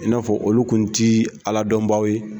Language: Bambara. I n'a fɔ olu kun ti Ala dɔnbaw ye